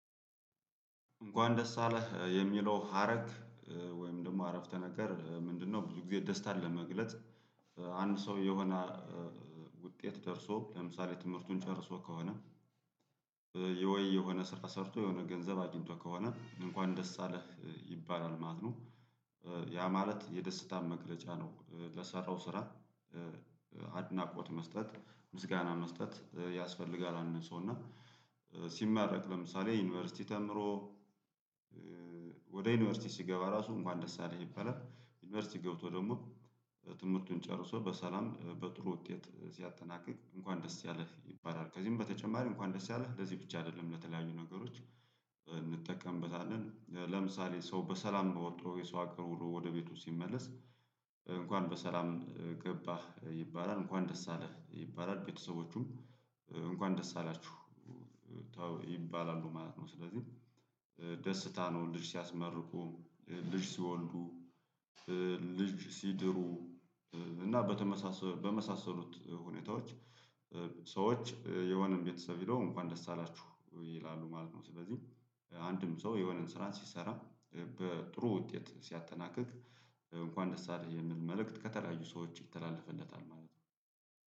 እንኳን ደስ አለህ የሚለው ሀረግ ወይም ደግሞ አረፍተ ነገር ምንድነው? ብዙ ጊዜ ደስታን ለመግለጽ አንድ ሰው የሆነ ውጤት ደርሶ ለምሳሌ ትምህርቱን ጨርሶ ከሆነ ወይ የሆነ ስር ሰርቶ የሆነ ገንዘብ አግኝቶ ከሆነ እንኳን ደስ አለህ ይባላል ማለት ነው። ያ ማለት የደስታን መግለጫ ነው ለሰራው ስራ። አድናቆት መስጠት ምስጋና መስጠት ያስፈልጋል አንድ ሰው እና ሲማረቅ ለምሳሌ ዩኒቨርሲቲ ተምሮ ወደ ዩኒቨርሲቲ ሲገባ ራሱ እንኳን ደስ አለህ ይበለጥ ዩኒቨርሲቲ ገብቶ ደግሞ ትምህርቱን ጨርሶ በሰላም በጥሩ ውጤት ሲያጠናቅቅ እንኳን ደስ ያለህ ይባላል። ከዚህም በተጨማሪ እንኳን ደስ ያለህ እንደዚህ ብቻ አይደለም ለተለያዩ ነገሮች። እንጠቀምበታለን ለምሳሌ ሰው በሰላም ውጥቶ ስራ ጋር ውሎ ወደ ቤቱ ሲመለስ እንኳን በሰላም ገባህ ይባላል እንኳን ደስ አለህ ይባላል ቤተሰቦቹም እንኳን ደስ አላችሁ ይባላሉ ማለት ነው። ስለዚህ ደስታ ነው ልጅ ሲያስመርቁ ልጅ ሲወልዱ ልጅ ሲድሩ እና በተመሳሰሉ በመሳሰሉት ሁኔታዎች ሰዎች የሆነን ቤተሰብ ሄደው እንኳን ደስ አላችሁ ይላሉ ማለት ነው። ስለዚህ አንድም ሰው የሆነን ስራ ሲሰራ በጥሩ ውጤት ሲያጠናቅቅ እንኳን ደስ አለህ የሚል መልእክት ከተለያዩ ሰዎች ይተላለፍለታል ማለት ነው።